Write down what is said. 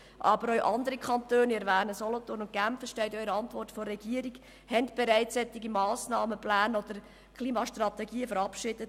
Aber auch andere Kantone wie Solothurn und Genf haben bereits solche Massnahmenpläne oder Klimastrategien verabschiedet.